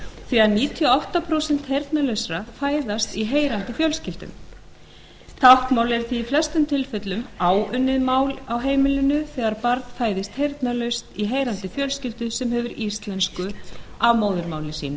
því að níutíu og átta prósent heyrnarlausra fæðast í heyrandi fjölskyldum táknmálið er því í flestum tilfellum áunnið mál á heimilinu þegar barn fæðist heyrnarlaust í heyrandi fjölskyldu sem hefur íslensku að móðurmáli sínu